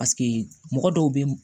Paseke mɔgɔ dɔw bɛ